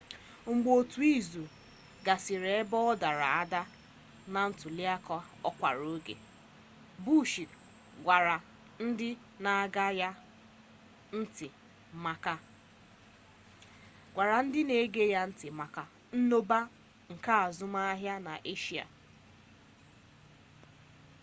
mgbe otu izu gasịrị ebe ọ dara ada na ntuliaka ọkara oge bush gwara ndị na-ege ya ntị maka mmụba nke azụmahịa n'eshia